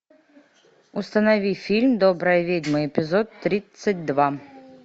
установи фильм добрая ведьма эпизод тридцать два